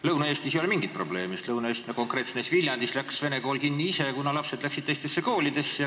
Lõuna-Eestis ei ole mingit probleemi, sest Lõuna-Eestis, konkreetselt näiteks Viljandis, läks vene kool kinni ise, kuna lapsed läksid teistesse koolidesse.